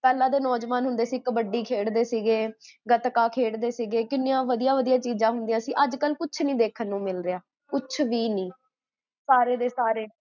ਪੇਹ੍ਲਾਂ ਦੇ ਨੋਜਵਾਨ ਹੁੰਦੇ ਸੀ, ਕਬੱਡੀ ਖੇਡਦੇ ਸੀਇਗੇ, ਗਤਕਾ ਖੇਡਦੇ ਸੀਗੇ, ਕਿੰਨੀਆਂ ਵਦੀਆ ਵਦੀਆ ਚੀਜ਼ਾਂ ਹੁੰਦੀਆਂ ਸੀ, ਅੱਜਕਲ ਕੁਛ ਨੀ ਦੇਖਣ ਨੂ ਮਿਲਦਾ